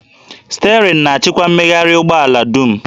Sterịn na-achịkwa mmegharị ụgbọ ala dum